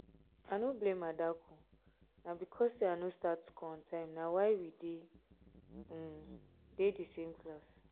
i no blame adaku na because say i no start school on time na why we um dey um dey the same class